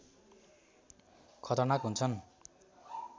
खतरनाक हुन्छन्